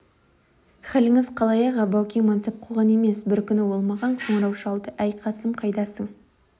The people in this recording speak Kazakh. халіңіз қалай аға баукең мансап қуған емес бір күні ол маған қоңырау шалды әй қасым қайдасың